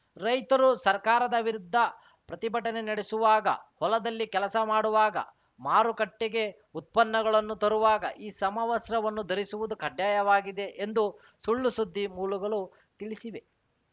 ರೈತರು ಸರ್ಕಾರದ ವಿರುದ್ಧ ಪ್ರತಿಭಟನೆ ನಡೆಸುವಾಗ ಹೊಲದಲ್ಲಿ ಕೆಲಸ ಮಾಡುವಾಗ ಮಾರುಕಟ್ಟೆಗೆ ಉತ್ಪನ್ನಗಳನ್ನು ತರುವಾಗ ಈ ಸಮವಸ್ತ್ರವನ್ನು ಧರಿಸುವುದು ಕಡ್ಡಾಯವಾಗಿದೆ ಎಂದು ಸುಲ್ಲು ಸುದ್ದಿ ಮೂಲಗಳು ತಿಳಿಸಿವೆ